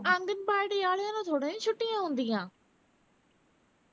ਆਂਗਣਵਾੜੀ ਵਾਲਿਆਂ ਨੂੰ ਥੋੜਾ ਨਾ ਛੁੱਟੀਆਂ ਹੁੰਦੀਆਂ